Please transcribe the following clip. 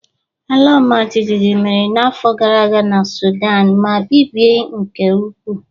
Ala ọmajiji mere n'afọ gara aga na Sudan ma bibie nke ukwuu